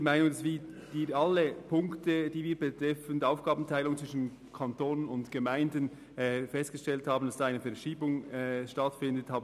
Wir haben alle Punkte unterstützt, bei denen wir festgestellt haben, dass sie die Aufgabenteilung zwischen Kanton und Gemeinden betreffen.